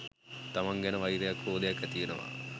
තමන් ගැන වෛරයක් ක්‍රෝධයක් ඇතිවෙනවා.